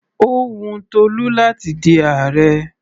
Ó wun Tolú láti di ààrẹ.